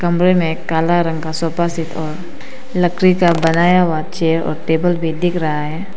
कमरे मे काला रंग का सोफा सेट और लकड़ी का बनाया हुआ चेयर और टेबल भी दिख रहा है।